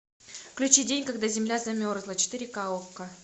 включи день когда земля замерзла четыре ка окко